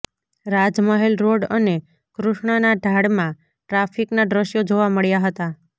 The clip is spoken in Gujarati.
રાજમહેલ રોડ અને કૃષ્ણનાં ઢાળમાં ટ્રાફિકના દ્રશ્યો જોવા મળ્યા હતા